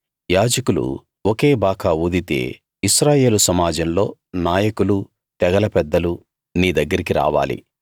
యాజకులు ఒకే బాకా ఊదితే ఇశ్రాయేలు సమాజంలో నాయకులూ తెగల పెద్దలు నీ దగ్గరకి రావాలి